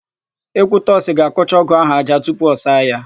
Ekwutọsị ga-akụcha ọ́gụ̀ áhụ̀ ájá tupu ọ saa ya.